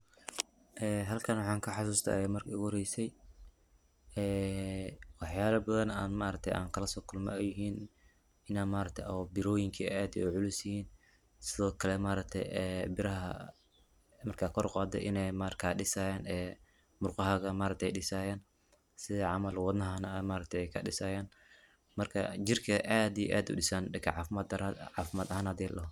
Waxan maxan ka xasuusta marki igu horeyse ee waxyala badan an ma aragte ankalasoo kulme ay yihin inay ma aragte biroyink ay aad u culusyihin, sidokale ma aragte biraha marka kor uqaado inay marka dhisayaan murqahaga ma aragte ay dhisayaan sidi camal wadnahana ay dhisayaan marka jirka ay aad iyo aad udhisaan dhanka caafimad ahan hadii ladhoho